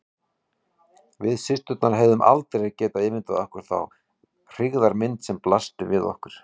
Við systurnar hefðum aldrei getað ímyndað okkur þá hryggðarmynd sem blasti við okkur.